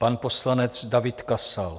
Pan poslanec David Kasal.